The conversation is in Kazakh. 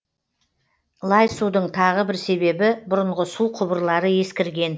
лай судың тағы бір себебі бұрынғы су құбырлары ескірген